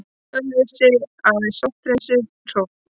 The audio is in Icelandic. Ölfusi, aðeins sótthreinsuð hrogn.